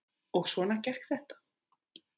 Og svona gekk þetta.